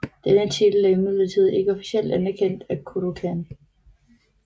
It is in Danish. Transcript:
Denne titel er imidlertid ikke officielt anerkendt af Kodokan